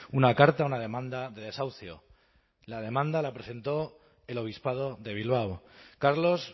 una carta una demanda de desahucio la demanda la presentó el obispado de bilbao carlos